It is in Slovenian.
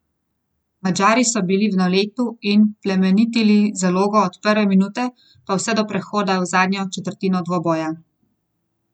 Polona Juh pravi, da je Milena velika osebnost našega prostora.